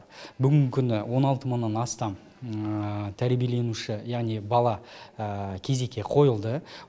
бүгінгі күні он алты мыңнан астам тәрбиеленуші яғни бала кезекке қойылды